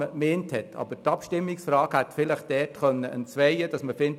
Die Abstimmungsfrage hätte dabei jedoch verwirrend sein können.